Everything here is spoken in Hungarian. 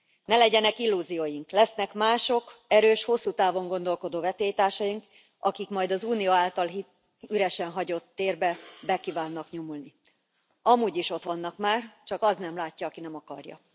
Ne legyenek illúzióink lesznek mások, erős, hosszú távon gondolkodó versenytársaink, akik majd az Unió által üresen hagyott térbe be kívánnak nyomulni. Amúgy is ott vannak már, csak az nem látja, aki nem akarja.